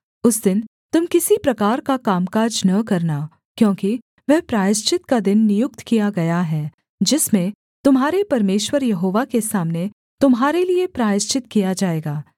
उस दिन तुम किसी प्रकार का कामकाज न करना क्योंकि वह प्रायश्चित का दिन नियुक्त किया गया है जिसमें तुम्हारे परमेश्वर यहोवा के सामने तुम्हारे लिये प्रायश्चित किया जाएगा